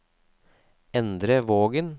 Endre Vågen